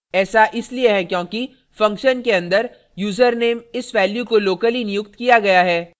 ऐसा इसलिए है क्योंकि function के अंदर यूज़रनेम इस value को locally नियुक्त किया गया है